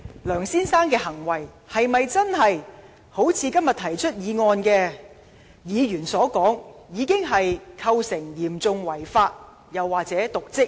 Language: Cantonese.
梁先生的行為是否真的如今天提出議案的議員所說，已經構成"嚴重違法"、"瀆職"？